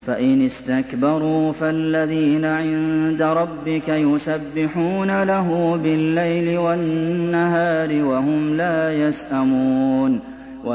فَإِنِ اسْتَكْبَرُوا فَالَّذِينَ عِندَ رَبِّكَ يُسَبِّحُونَ لَهُ بِاللَّيْلِ وَالنَّهَارِ وَهُمْ لَا يَسْأَمُونَ ۩